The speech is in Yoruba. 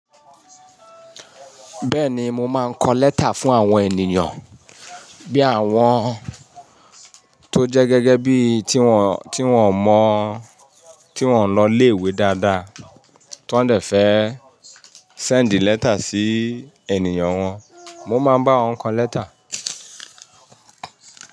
Bẹ́ẹ̀ni, mo máa ń kọ lẹ́tà fún àwọn ènìyàn bí àwọn tó jẹ́ gẹ́gẹ́ bí tí wọ́n, tí wọ́n mọ̀, tí wọ́n lọ ilé-ìwé dáadáa tó ń dẹ̀ fẹ́ send lẹ́tà sí ènìyàn wọn, mo máa ń bá wọn kọ lẹ́tà.